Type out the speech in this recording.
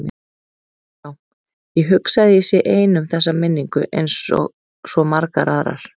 Já, ég hugsa að ég sé ein um þessa minningu einsog svo margar aðrar.